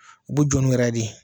U b'u jɔ n'u yɛrɛ de ye